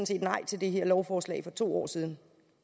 set nej til det her lovforslag for to år siden